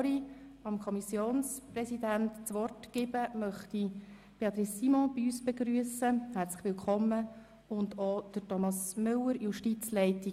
Bevor ich dem Kommissionspräsidenten das Wort erteile, möchte ich Regierungsrätin Simon bei uns begrüssen und auch Thomas Müller seitens der der Justizleitung.